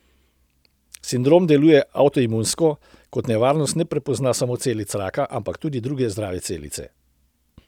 Sindrom deluje avtoimunsko, kot nevarnost ne prepozna samo celic raka, ampak tudi druge zdrave celice.